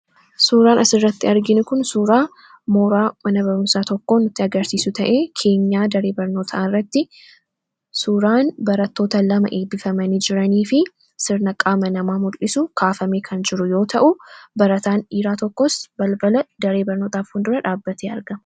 suuraan asirratti arginukun suuraa mooraa mana baramsaa tokko kan agarsiisu ta'e keenyaa daree barnootarratti suuraan baratoota 2 eebbifamii jiranii fi sirna qaama namaa mul'isu kaafamee kan jiru yoo ta'u barataan dhiiraa tokkos balbala daree barnootaa fuuldura dhaabbatee arga.